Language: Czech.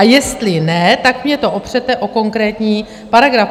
A jestli ne, tak mi to opřete o konkrétní paragraf.